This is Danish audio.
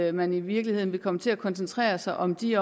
at man i virkeligheden vil komme til at koncentrere sig om de